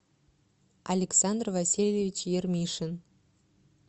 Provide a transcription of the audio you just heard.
александр васильевич ермишин